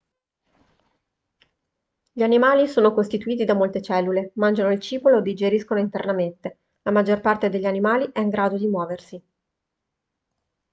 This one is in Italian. gli animali sono costituiti da molte cellule mangiano il cibo e lo digeriscono internamente la maggior parte degli animali è in grado di muoversi